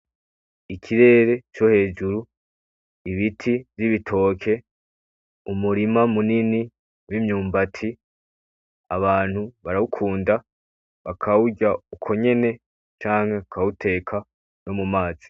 Ikirere cohejuru ibiti vyibitoke umurima munini wimyumbati abantu barawukunda bakawurya uko nyene canke bakawuteka nomumazi.